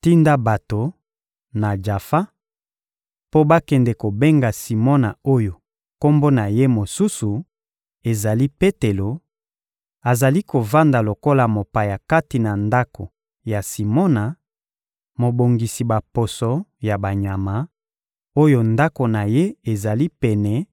Tinda bato, na Jafa, mpo bakende kobenga Simona oyo kombo na ye mosusu ezali Petelo; azali kovanda lokola mopaya kati na ndako ya Simona, mobongisi baposo ya banyama, oyo ndako na ye ezali pene